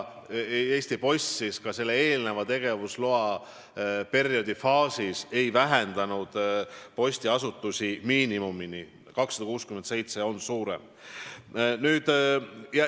Eesti Post ei vähendanud praeguse tegevusloa kehtides postiasutuste arvu miinimumini – 267 on sellest arvust suurem.